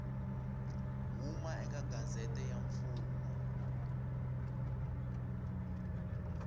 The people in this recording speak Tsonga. huma eka gazette ya mfumo